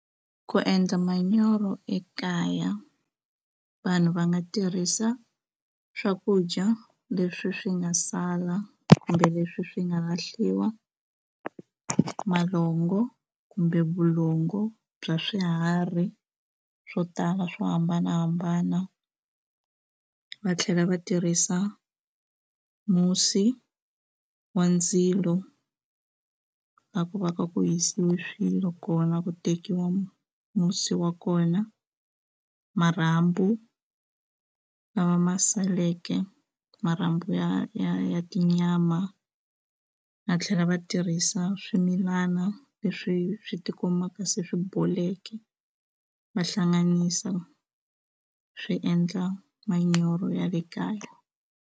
Ku endla manyoro ekaya vanhu va nga tirhisa swakudya leswi swi nga sala kumbe leswi swi nga lahliwa malongo kumbe vulongo bya swiharhi swo tala swo hambanahambana va tlhela va tirhisa musi wa ndzilo la ku va ka ku hisiwe swilo kona ku tekiwa musi wa kona marhambu lawa ma saleke marhambu ya ya ya tinyama va tlhela va tirhisa swimilana leswi swi tikumaka se swi boleke va hlanganisa swi endla manyoro ya le kaya.